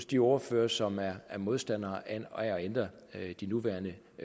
de ordførere som er modstandere af at ændre de nuværende